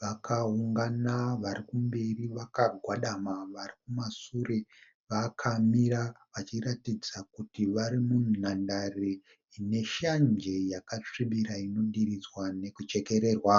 vakaungana vari kumberi vakagwadama. Varikumashure vakamira vachiratidza kuti vari munhandare ine shanje yakasvibira zvakanaka inodiridzwa nekuchekererwa.